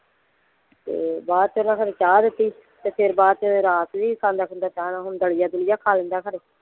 ਤੇ ਬਾਅਦ ਚ ਓਹਨਾਂ ਖਰੇ ਚਾਹ ਦਿੱਤੀ ਫੇਰ ਬਾਦ ਚ ਰੱਸ ਵੀ ਖਾਂਦਾ ਖੁੰਦਾ ਚਾਹ ਨਾਲ ਹੁਣ ਦਲੀਆ ਦੂਲਿਆ ਖਾ ਲੈਂਦਾ ਘਰੇ।